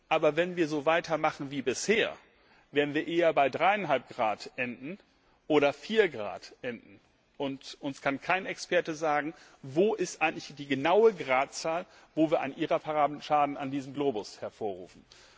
Aber wenn wir so weitermachen wie bisher, werden wir eher bei 3,5 Grad oder 4 Grad enden, und uns kann kein Experte sagen, welches eigentlich die genaue Gradzahl ist, bei der wir einen irreparablen Schaden an diesem Globus hervorrufen.